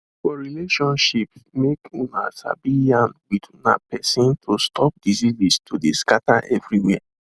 for relationships make una sabi yarn with una persin to stop diseases to de scatter everywhere